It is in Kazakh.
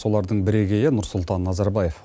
солардың бірегейі нұрсұлтан назарбаев